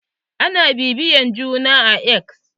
Ana bibiya juna a X.